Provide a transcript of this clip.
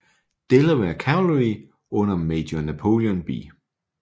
Delaware Cavalry under major Napoleon B